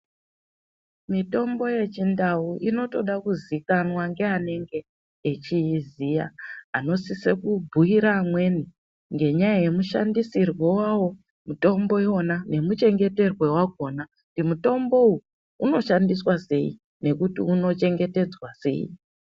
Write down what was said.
Mitombo yechindau inotodakuzikwanwa nganenge echiziya anosise kubhuira amweni ngenyaya yemushandisirwe wawo mutombo iwona nemuchengeterwe wakona kuti mutombou unoshandiswa sei nekuti uno chengetedzwa sei.